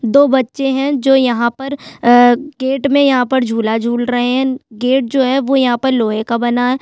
दो बच्चे है जो यहाँ पर अअअ गेट में यहाँ पर झुला-झूल रहे है गेट जो है वो यहाँ पर लोहे का बना है।